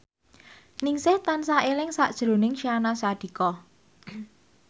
Ningsih tansah eling sakjroning Syahnaz Sadiqah